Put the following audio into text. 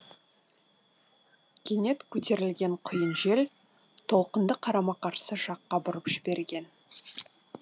кенет көтерілген құйын жел толқынды қарама қарсы жаққа бұрып жіберген